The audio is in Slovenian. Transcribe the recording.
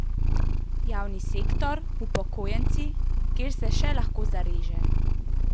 Javni sektor, upokojenci, kjer se še lahko zareže?